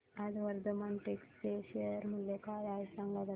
आज वर्धमान टेक्स्ट चे शेअर मूल्य काय आहे सांगा बरं